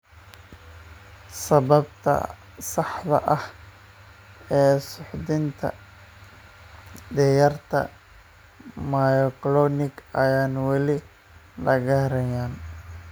Sababta saxda ah ee suuxdinta da'yarta myoclonic ayaan weli la garanayn.